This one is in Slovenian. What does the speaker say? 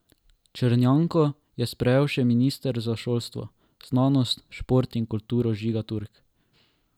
Črnjanko je sprejel še minister za šolstvo, znanost, šport in kulturo Žiga Turk.